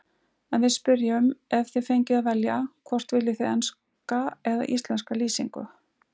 En við spyrjum, ef þið fengjuð að velja, hvort viljið þið enska eða íslenska lýsingu?